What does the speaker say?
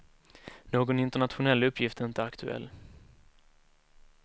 Någon internationell uppgift är inte aktuell.